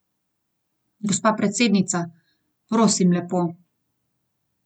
Gospa predsednica, prosim lepo.